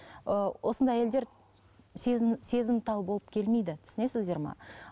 ыыы осындай әйелдер сезім сезімтал болып келмейді түсінесіздер ме